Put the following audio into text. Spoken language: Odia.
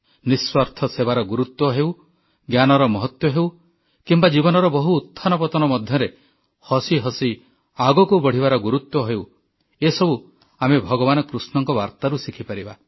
ନିଃସ୍ୱାର୍ଥ ସେବାର ଗୁରୁତ୍ୱ ହେଉ ଜ୍ଞାନର ମହତ୍ୱ ହେଉ କିମ୍ବା ଜୀବନର ବହୁ ଉତ୍ଥାନ ପତନ ମଧ୍ୟରେ ହସି ହସି ଆଗକୁ ବଢ଼ିବାର ଗୁରୁତ୍ୱ ହେଉ ଏସବୁ ଆମେ ଭଗବାନ କୃଷ୍ଣଙ୍କ ବାର୍ତ୍ତାରୁ ଶିଖିପାରିବା